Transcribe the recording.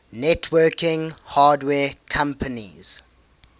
networking hardware companies